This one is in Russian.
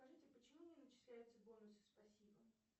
скажите почему не начисляются бонусы спасибо